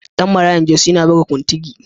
Ɗan Marayan Jos yana buga kuntigi.